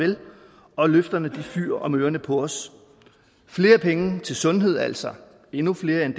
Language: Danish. vel og løfterne fyger om ørerne på os flere penge til sundhed altså endnu flere end